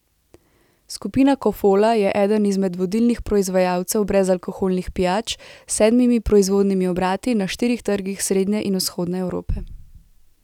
Skupina Kofola je eden izmed vodilnih proizvajalcev brezalkoholnih pijač s sedmimi proizvodnimi obrati na štirih trgih srednje in vzhodne Evrope.